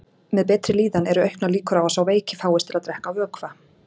Með betri líðan eru auknar líkur á að sá veiki fáist til að drekka vökva.